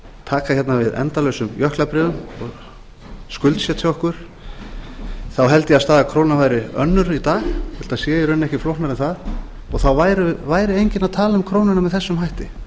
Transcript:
taka hérna við endalausum jöklabréfum og skuldsetja okkur held ég að staða krónuna væri önnur í dag þetta sé í raun ekki flóknara en það og þá væri enginn að tala um krónuna með þessum hætti